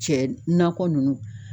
Cɛ nakɔ nunnu